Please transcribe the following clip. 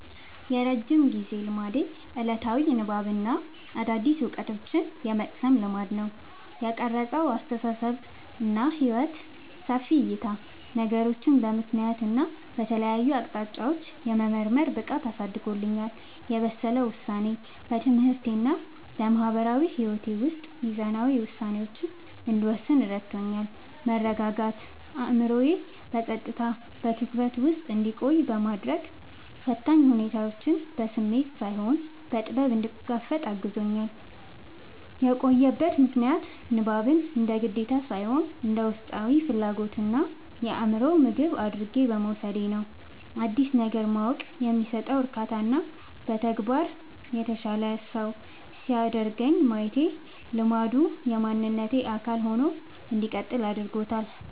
የረጅም ጊዜ ልማዴ፦ ዕለታዊ የንባብና አዳዲስ ዕውቀቶችን የመቅሰም ልማድ። የቀረጸው አስተሳሰብና ሕይወት፦ ሰፊ ዕይታ፦ ነገሮችን በምክንያትና በተለያዩ አቅጣጫዎች የመመርመር ብቃትን አሳድጎልኛል። የበሰለ ውሳኔ፦ በትምህርቴና በማህበራዊ ሕይወቴ ውስጥ ሚዛናዊ ውሳኔዎችን እንድወስን ረድቶኛል። መረጋጋት፦ አእምሮዬ በጸጥታና በትኩረት ውስጥ እንዲቆይ በማድረግ፣ ፈታኝ ሁኔታዎችን በስሜት ሳይሆን በጥበብ እንድጋፈጥ አግዞኛል። የቆየበት ምክንያት፦ ንባብን እንደ ግዴታ ሳይሆን እንደ ውስጣዊ ፍላጎትና የአእምሮ ምግብ አድርጌ በመውሰዴ ነው። አዲስ ነገር ማወቅ የሚሰጠው እርካታና በተግባር የተሻለ ሰው ሲያደርገኝ ማየቴ ልማዱ የማንነቴ አካል ሆኖ እንዲቀጥል አድርጎታል።